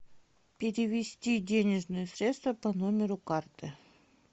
перевести денежные средства по номеру карты